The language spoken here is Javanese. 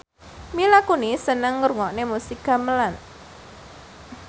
Mila Kunis seneng ngrungokne musik gamelan